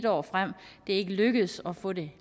år frem det er ikke lykkedes at få det